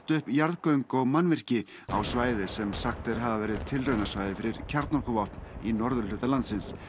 upp jarðgöng og mannvirki á svæði sem sagt er hafa verið tilraunasvæði fyrir kjarnorkuvopn í norðurhluta landsins